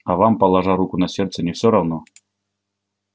а вам положа руку на сердце не всё равно